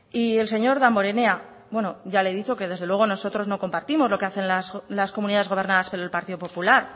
y el señor damborenea bueno ya le he dicho que desde luego nosotros no compartimos lo que hacen las comunidades gobernadas por el partido popular